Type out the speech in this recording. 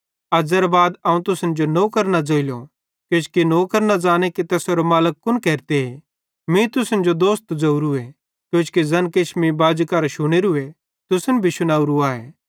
अज़्ज़ेरे बाद अवं तुसन जो नौकर न ज़ोइलो किजोकि नौकर न ज़ांने कि तैसेरो मालिक कुन केरते मीं तुसन जो दोस्त ज़ोरूए किजोकि ज़ैन किछ मीं बाजी करां शुनोरुए तुसन भी शुनावरू आए